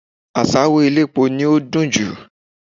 Àṣáró elépo ni ó dùn jù